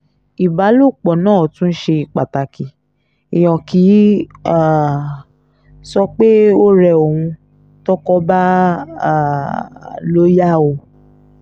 ìbálòpọ̀ náà tún ṣe pàtàkì èèyàn kì í um sọ pé ó rẹ òun tọ́kọ bá um lọ yá o